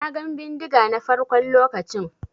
Na gan bindiga na farkon lokacin.